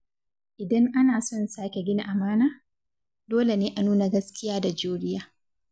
Idan ana son sake gina amana, dole ne a nuna gaskiya da juriya.